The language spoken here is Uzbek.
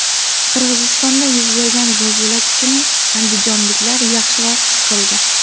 Qirg‘izistonda yuz bergan zilzila kuchini andijonliklar yaxshiroq his qildi.